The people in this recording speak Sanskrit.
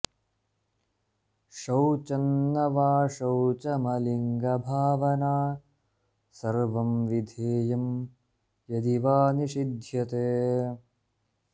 शौचं न वाशौचमलिङ्गभावना सर्वं विधेयं यदि वा निषिध्यते